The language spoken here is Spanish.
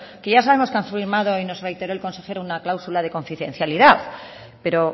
que ya sabemos que han firmado y nos reiteró el consejero una cláusula de confidencialidad pero